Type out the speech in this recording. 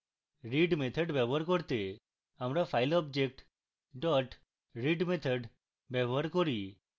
read method ব্যবহার করতে আমরা file object dot read method ব্যবহার করি